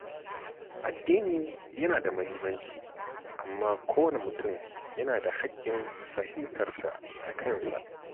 Addini yana da muhimmanci, amma kowane mutum yana da hakkin fahimtar sa da kansa.